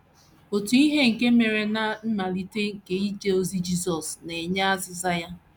Otu ihe nke mere ná mmalite nke ije ozi Jisọs na - enye azịza ya.